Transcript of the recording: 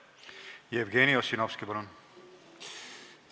Jevgeni Ossinovski, palun!